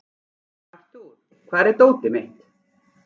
Arthur, hvar er dótið mitt?